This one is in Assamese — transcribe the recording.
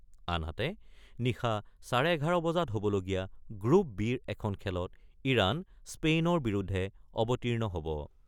আনহাতে, নিশা চাৰে ১১ বজাত হ'বলগীয়া গ্ৰুপ-বিৰ এখন খেলত ইৰাণ স্পেইনৰ বিৰুদ্ধে অৱতীৰ্ণ হ'ব।